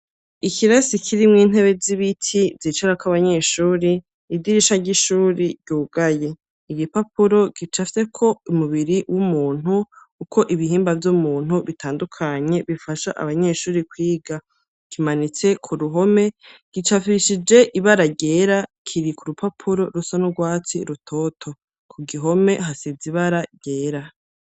Ikirasi kirimwo intebe z'ibiti, zicarako abanyeshuri, idirisha ry'ishuri ryugaye; igipapuro gicafyeko umubiri w'umuntu, uko ibihimba vy'umuntu bitandukanye, bifasha abanyeshuri kwiga; kimanitse ku ruhome gicapishije ibara ryera, kiri ku rupapuro rusa n'urwatsi rutoto, ku gihome hasize ibara ryera.